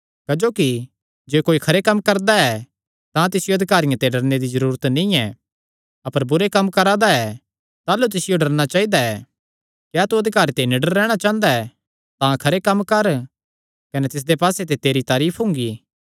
क्जोकि जे कोई खरे कम्म करा दा ऐ तां तिसियो अधिकारियां ते डरणे दी जरूरत नीं ऐ अपर बुरे कम्म करा दा ऐ ताह़लू तिसियो डरणा चाइदा ऐ क्या तू अधिकारी ते निडर रैहणा चांह़दा ऐ तां खरे कम्म कर कने तिसदे पास्से ते तेरी तारीफ हुंगी